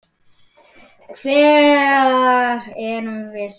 Hvar erum við stödd?